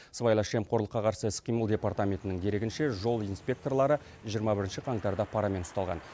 сыбайлас жемқорлыққа қарсы іс қимыл департаментінің дерегінше жол инспекторлары жиырма бірінші қаңтарда парамен ұсталған